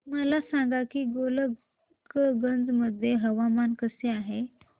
मला सांगा की गोलकगंज मध्ये हवामान कसे आहे